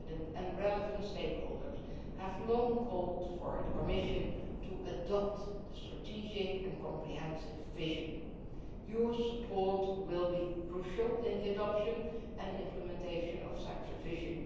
and relevant stakeholders have long called for the Commission to adopt a strategic and comprehensive vision. Your support will be crucial in the adoption and implementation of such a vision.